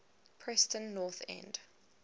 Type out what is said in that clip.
preston north end